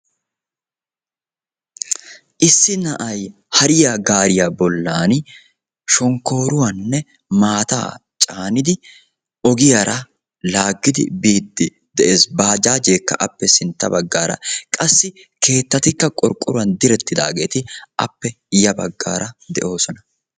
Issi naa' naaay hariya gaariya bollan shonkkoruwanne maata hariyan caanidi biide de'ees. Baajajjekka appe sintta baggaara qassi keetttetikka qorqqoruw direttidaageeti appe sintta baggaara de'oosona.